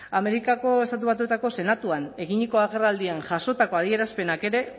amerikako estatu batuetako senatuan eginiko agerraldian jasotako adierazpenak ere